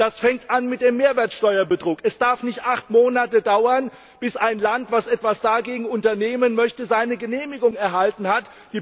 Das fängt an mit dem Mehrwertsteuerbetrug. Es darf nicht acht Monate dauern, bis ein Land, das etwas dagegen unternehmen möchte, seine Genehmigung erhalten hat.